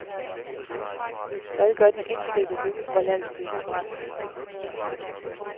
Hvad gør de indfødte, nu hvor landsbyen er brændt?